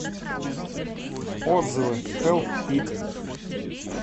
отзывы хэлп ит